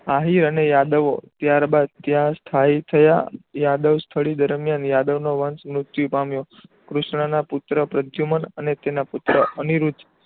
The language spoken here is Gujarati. શાહી અને યદાવો ત્યારબાદ ત્યાં સ્થાહી થયા યાદવ સ્થૂળ વીર નો વંશ મુક્તિ પામ્યો કૃષ્ણ ના પુત્ર પ્રદ્યુમન અને તેના પુત્ર અનિરુદ્ધ